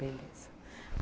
Beleza.